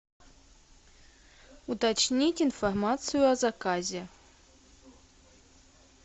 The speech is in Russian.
уточнить информацию о заказе